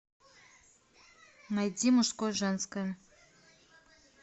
найди мужское женское